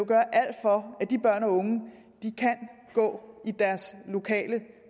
gøre alt for at de børn og unge kan gå i deres lokale